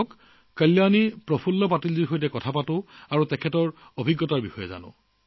আহকচোন কল্যাণী প্ৰফুল্ল পাটিলজীৰ লগত কথা পাতো আৰু তেওঁৰ অভিজ্ঞতা শুনো